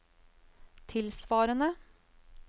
tilsvarende